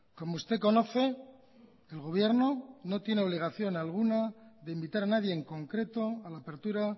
como usted conoce el gobierno no tiene obligación alguna de invitar a nadie en concreto a la apertura